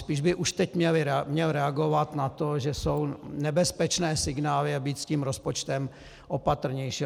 Spíš by už teď měl reagovat na to, že jsou nebezpečné signály, a být s tím rozpočtem opatrnější.